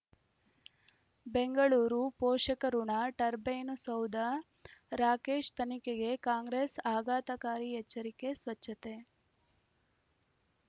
ಬೆಂಗಳೂರು ಪೋಷಕಋಣ ಟರ್ಬೈನು ಸೌಧ ರಾಕೇಶ್ ತನಿಖೆಗೆ ಕಾಂಗ್ರೆಸ್ ಆಘಾತಕಾರಿ ಎಚ್ಚರಿಕೆ ಸ್ವಚ್ಛತೆ